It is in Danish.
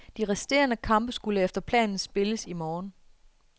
De resterende kampe skulle efter planen spilles i morgen.